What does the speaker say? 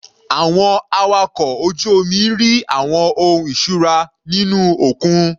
Àwọn awakọ̀ ojú omi rí àwọn ohun ìṣura nínú òkun.